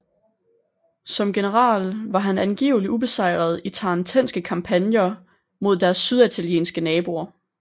Som generel var han angiveligt ubesejret i tarentenske kampagner mod deres syditalienske naboer